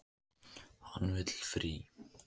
Hann vill frí.